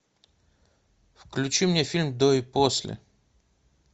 включи мне фильм до и после